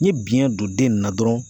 N ye biyɛn don den nin na dɔrɔn